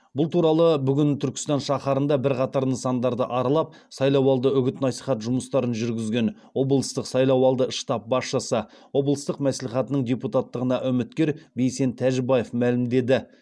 бұл туралы бүгін түркістан шахарында бірқатар нысандарды аралап сайлауалды үгіт насихат жұмыстарын жүргізген облыстық сайлауалды штаб басшысы облыстық маслихатының депутаттығына үміткер бейсен тәжібаев мәлімдеді